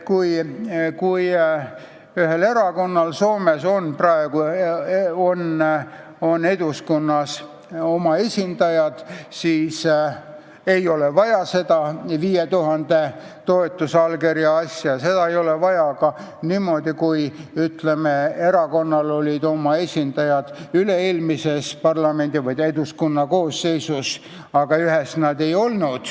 Kui erakonnal on praegu Eduskunnas oma esindajad, siis ei ole vaja 5000 toetusallkirja, seda ei ole vaja ka siis, kui erakonnal olid oma esindajad üle-eelmises Eduskunna koosseisus ja vahepeal ühes koosseisus neid ei olnud.